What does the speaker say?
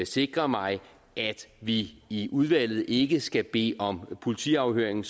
sikre mig at vi i udvalget ikke sådan skal bede om politiafhøring